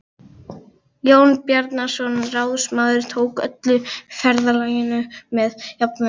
Jón Bjarnason ráðsmaður tók öllu ferðalaginu með jafnmikilli gleði.